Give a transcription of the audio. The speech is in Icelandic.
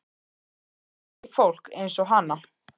Ég þekki fólk eins og hana.